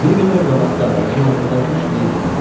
Bir qədər qabaqda ağacın altında üç meyit var idi.